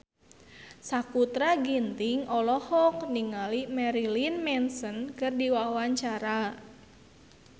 Sakutra Ginting olohok ningali Marilyn Manson keur diwawancara